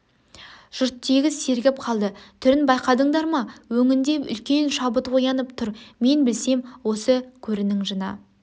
жұрттегіс сергіп қалды түрін байқадыңдар ма өңінде үлкен шабыт оянып тұр мен білсем осы көрінің жыны